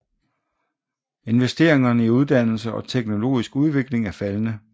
Investeringerne i uddannelse og teknologisk udvikling er faldende